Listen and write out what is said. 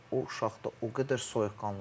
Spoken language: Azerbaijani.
O uşaq da o qədər soyuqqanlı var.